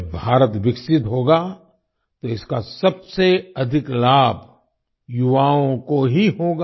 जब भारत विकसित होगा तो इसका सबसे अधिक लाभ युवाओं को ही होगा